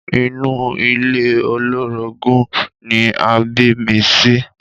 Inú ilé olórogún ni a bí mi sí.